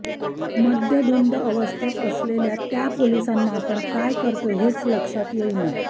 मद्यधुंद अवस्थेत असलेल्या त्या पोलिसांना आपण काय करतोय हेच लक्षात येईना